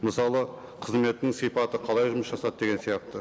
мысалы қызметінің сипаты қалай жұмыс жасады деген сияқты